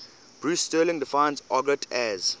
bruce sterling defines argot as